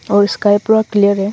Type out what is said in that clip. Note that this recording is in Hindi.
और स्काई पूरा क्लियर है।